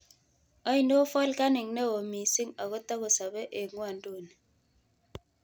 Ainon volkanik neo miising' agotagosabe eng' ng'wonynduni